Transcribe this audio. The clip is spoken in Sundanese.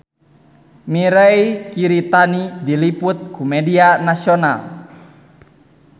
Mirei Kiritani diliput ku media nasional